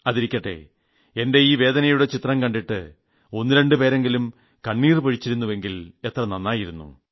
അതിരിക്കട്ടെ എന്റെ ഈ വേദനയുടെ ചിത്രം കണ്ടിട്ട് ഒന്ന് രണ്ട് പേരെങ്കിലും കണ്ണുനീർ പൊഴിച്ചിരുന്നെങ്കിൽ എത്ര നന്നായിരുന്നു